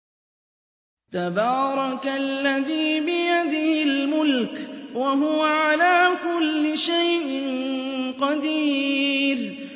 تَبَارَكَ الَّذِي بِيَدِهِ الْمُلْكُ وَهُوَ عَلَىٰ كُلِّ شَيْءٍ قَدِيرٌ